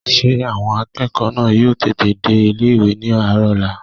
Ṣé àwọn akẹ́kọ̀ọ́ náà yóò tètè dé ilé-ìwé ní àárọ̀ ọ̀la?